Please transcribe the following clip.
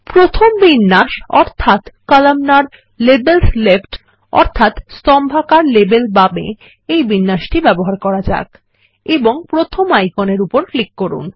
প্রথম বিন্যাস অর্থাত কলামনার - লেবেলস লেফ্ট বা স্তম্ভাকার লেবেল বামে ব্যবহার করা যাক এবং প্রথম আইকনের উপর ক্লিক করুন